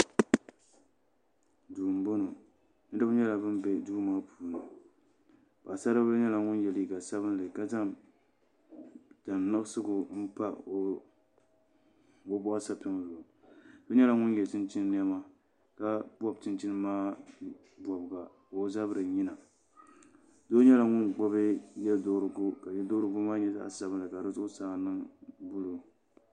Duu n boŋo doo nyɛla ŋun bɛ duu maa puuni paɣasaribili nyɛla ŋun yɛ liiga sabinli ka zaŋ tani nuɣso n pa o boɣu sapiŋ zuɣu doo nyɛla ŋun yɛ chinchin niɛma ka bob chinchin maa bobga ka o zabiri yina doo nyɛla ŋun gbuni yɛduɣurigu ka yɛduɣurigu maa nyɛ zaɣ sabinli ka di zuɣusaa niŋ buluu